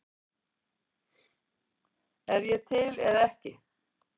Er ég til eða ekki til?